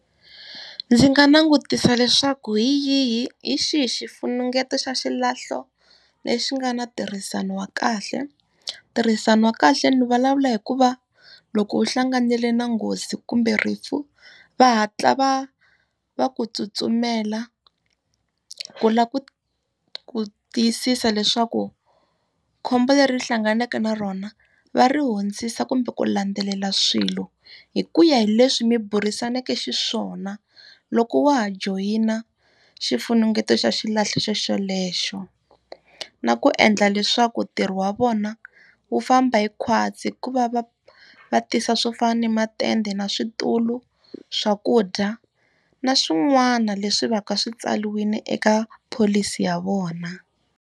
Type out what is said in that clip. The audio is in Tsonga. Ndzi nga langutisa leswaku hi yihi hi xihi xifunengeto xa xilahlo lexi nga ni ntirhisano wa kahle. Ntirhisano wa kahle ni vulavula hi ku va loko u hlanganile na nghozi kumbe rifu, va hatla va va ku tsutsumela ku lava ku ku tiyisisa leswaku khombo leri u hlanganeke na rona, va ri hundzisa kumbe ku landzelela swilo hi ku ya hi leswi mi burisaneke xiswona loko wa ha joyina xifunengeto xa xilahlo xo xelexo. Na ku endla leswaku ntirho wa vona wu famba hi khwatsi hi ku va va va tisa swo fana na matende, na switulu, swakudya, na swin'wana leswi va ka swi tsariwile eka pholisi ya vona.